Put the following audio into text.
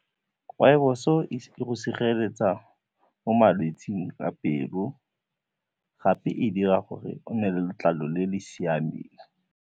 Rpoibos o e go sireletsa mo malwetsing a pelo gape e dira gore o nne le letlalo le le siameng.